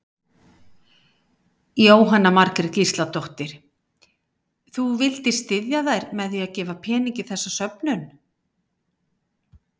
Jóhanna Margrét Gísladóttir: Þú vildir styðja þær með að gefa pening í þessa söfnun?